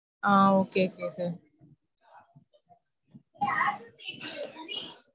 Hmm okay okay sir.